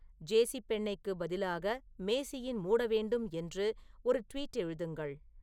ஜேசிப்பெண்ணெய்க்கு பதிலாக மேசியின் மூட வேண்டும் என்று ஒரு ட்வீட் எழுதுங்கள்